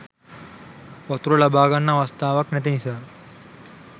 වතුර ලබාගන්න අවස්ථාවක් නැති නිසා.